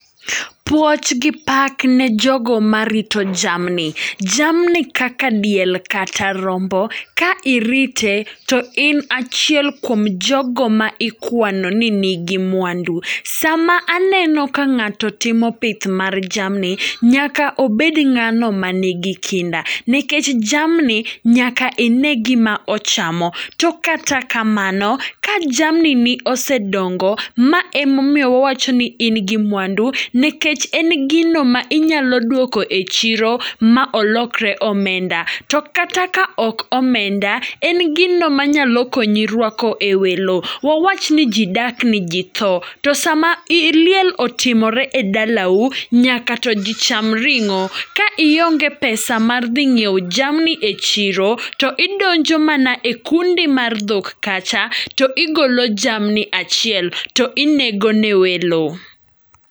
Puoch gi pak ne jogo ma rito jamni, jamni kaka diel kata rombo ka irite to in achiel kuom jogo ma ikwano ni nigi mwandu. Sama aneno ka ng'ato timo pith mar jamni, nyaka obed ng'ano ma nigi kinda. Nekech jamni nyaka ine gima ochamo. To kata kamano, ka jamni ni ose dongo, ma emomiyo wawacho ni in gi mwanu. Nekech en gino ma inyalo dwoko e chiro, ma olokre omenda. To kata ka ok omenda, en gino ma nyalo konyi rwako e welo. Wawach ni ji dak ni ji tho, to sama liel otimore e dalau, nyaka to ji cham ring'o. Ka ionge pesa mar dhi ng'iewo jamni e chiro, to idonjo mana e kundi mar dhok kacha do igolo jamni achiel to inego ne welo.